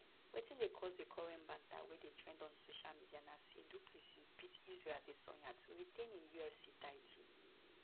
wetin dey cause di current banter wey dey trend on social media na say du plessis beat isreal adesanya to retain im ufc title